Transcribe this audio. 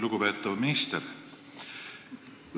Lugupeetav minister!